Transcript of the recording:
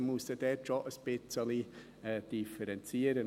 Dort muss man muss dort schon ein bisschen differenzieren.